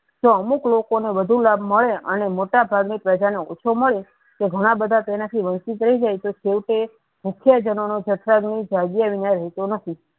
તો અમુક લોકો ને વધુ લાભ મળે અને મોટા ભાગને પ્રજા ને ઓછુ મળે તે ઘણા બધા તેના થી વંચિત થઇ જાય તો તેવો તે મુખ્ય જનો ની જત્થા નુ વિના નથી.